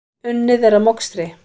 Unnið er að mokstri.